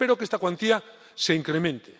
Espero que esta cuantía se incremente.